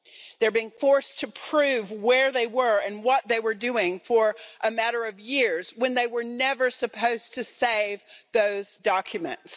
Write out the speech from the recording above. They're being forced to prove where they were and what they were doing for a matter of years when they were never supposed to save those documents.